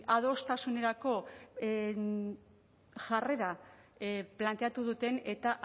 ba adostasunerako jarrera planteatu duten eta